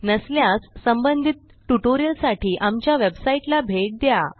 नसल्यास संबंधित ट्युटोरियलसाठी आमच्या वेबसाईटला भेट द्या